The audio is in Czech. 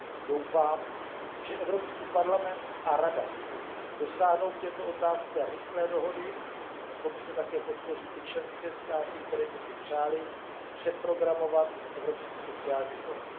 Doufám, že Evropský parlament a Rada dosáhnou v této otázce rychlé dohody. Komise také podpoří ty členské státy, které by si přály přeprogramovat Evropský sociální fond.